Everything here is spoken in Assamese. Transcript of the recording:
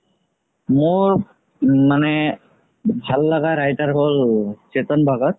মোৰ মানে ভাল লাগা writer হ'ল চেতান ভাগাত